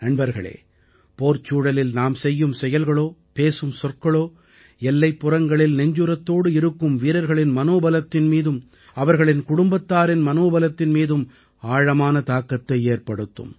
நண்பர்களே போர்ச்சூழலில் நாம் செய்யும் செயல்களோ பேசும் சொற்களோ எல்லைப்புறங்களில் நெஞ்சுரத்தோடு இருக்கும் வீரர்களின் மனோபலத்தின் மீதும் அவர்களின் குடும்பத்தாரின் மனோபலத்தின் மீதும் ஆழமான தாக்கத்தை ஏற்படுத்தும்